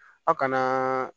Aw kana